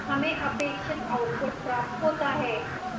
हमें अपेक्षित output प्राप्त होता है